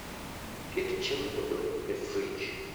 Ket chiemo modong' e frij